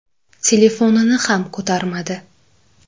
Telefonini ham ko‘tarmadi.